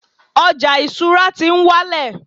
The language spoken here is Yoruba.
ọja isura ti n wálẹ̀